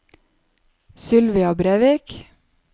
Sylvia Brevik